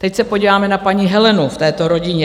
Teď se podíváme na paní Helenu v této rodině.